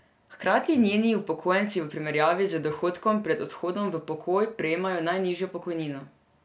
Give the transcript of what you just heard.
Hkrati njeni upokojenci v primerjavi z dohodkom pred odhodom v pokoj prejemajo najnižjo pokojnino.